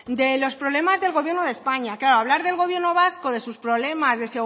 de los problemas del gobierno de españa claro hablar del gobierno vasco de sus problemas de